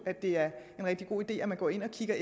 at det er en rigtig god idé at man går ind og kigger